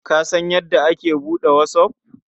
Ka san yadda a ake buɗe whatsApp?